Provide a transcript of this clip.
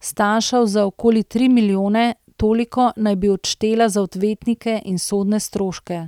stanjšal za okoli tri milijone, toliko naj bi odštela za odvetnike in sodne stroške.